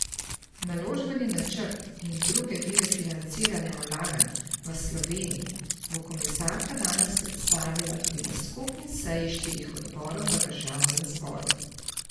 Naložbeni načrt in druge vire financiranja vlaganj v Sloveniji bo komisarka danes predstavila tudi na skupni seji štirih odborov v državnem zboru.